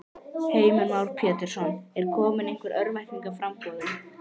Heimir Már Pétursson: Er komin einhver örvænting í í framboðið?